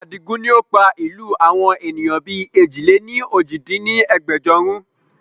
Adigun ni pa ìlú àwọn ènìyàn bí èjì-lé-ní-ojì dín ní ẹgbẹ́jọ run